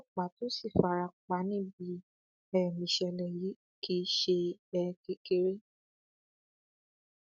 ọlọpàá tó sì fara pa níbi um ìṣẹlẹ yìí kì í ṣe um kékeré